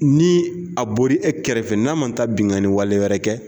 Ni a bori e kɛrɛfɛ n'a ma ta binnkanni wale wɛrɛ kɛ